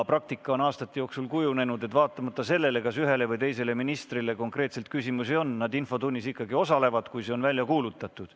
Praktika on aastate jooksul kujunenud selliseks, et olenemata sellest, kas ühele või teisele ministrile konkreetselt küsimusi on, nad infotunnis ikkagi osalevad, kui see on välja kuulutatud.